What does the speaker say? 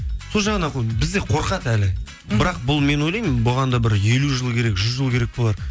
сол жағынан бізде қорқады әлі бірақ бұл мен ойлаймын бұған да бір елу жыл керек жүз жыл керек болар